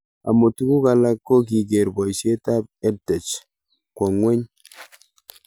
Amu tuguk alak ko kiker poishet ab EdTech kwo ng'weny